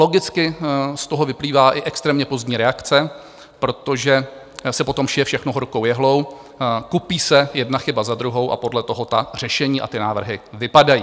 Logicky z toho vyplývá i extrémně pozdní reakce, protože se potom šije všechno horkou jehlou, kupí se jedna chyba za druhou a podle toho ta řešení a ty návrhy vypadají.